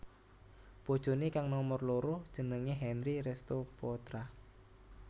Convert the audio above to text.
Bojoné kang nomer loro jenengé Henry Restoe Poetra